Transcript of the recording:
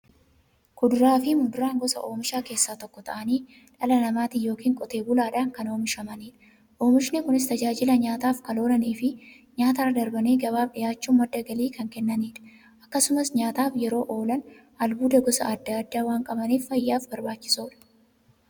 Kuduraafi muduraan gosa oomishaa keessaa tokko ta'anii, dhala namaatin yookiin Qotee bulaadhan kan oomishamaniidha. Oomishni Kunis, tajaajila nyaataf kan oolaniifi nyaatarra darbanii gabaaf dhiyaachuun madda galii kan kennaniidha. Akkasumas nyaataf yeroo oolan, albuuda gosa adda addaa waan qabaniif, fayyaaf barbaachisoodha.